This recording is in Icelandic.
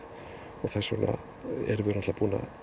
og þess vegna erum við búin að